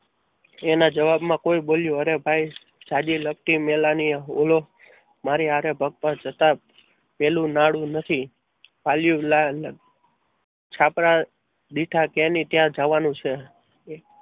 એના જવાબમાં બોલી અરે ભાઈ ઝાઝી લગતી મેળાની ઓલો મારી હારે બફર જતા પહેલું નાડુ નથી છાપરા બેઠા ત્યાં ને ત્યાં જવાનું છે.